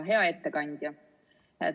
Hea ettekandja!